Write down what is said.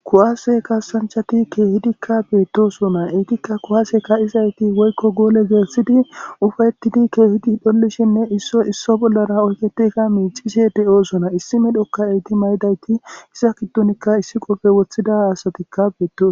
Kuwase kassanchchati kehidikka bettosona eetika kuwasse kaizayti woykko goole gelssidi uffa'etidi kehiddi dhollishenne issoy isso bollara oyykketidi miccishe deossona issi medhokka eeti mayidayti iza giddonika issi qoppe woththida asatikka bettosona.